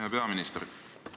Hea peaminister!